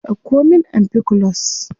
Dauko min ampiclox.